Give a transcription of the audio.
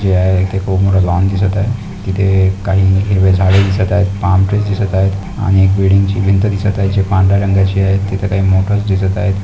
जे आहे ते खूप मोठं लॉन दिसत आहे. तिथे काही हिरवे झाडे दिसत आहे बाऊंड्रीस दिसत आहे आणि एक बिल्डिंग ची भिंत दिसत आहे जे पांढऱ्या रंगाची आहे तिथे काही मोटर्स दिसत आहे.